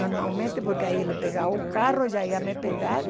Normalmente, porque aí ele pegava o carro, já ia me pegar.